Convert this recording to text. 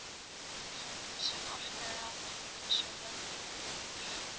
Þögn sem orkaði á mig einsog löðrungur.